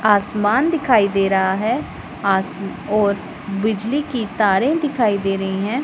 आसमान दिखाई दे रहा है आस और बिजली की तारें दिखाई दे रही हैं।